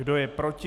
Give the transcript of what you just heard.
Kdo je proti?